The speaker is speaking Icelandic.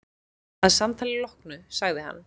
Að samtalinu loknu sagði hann